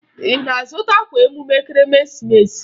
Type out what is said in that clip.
Ị na-azụta akwa emume Ekeresimeesi?